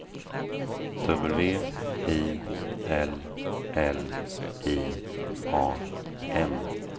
W I L L I A M